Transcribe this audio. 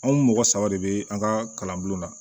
Anw mɔgɔ saba de be an ka kalan bulon na